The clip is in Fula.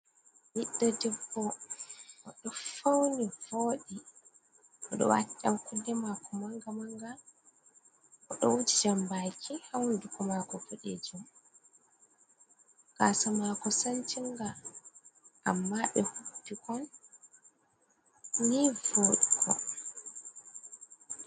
Biddo dibbo odo fauni voodi. Oɗo wati yankunne mako manga-manga. Odo wuji jambaki ha hunduko mako budeejum. Gasa mako sancinga amma be hubbikon ni vodugo.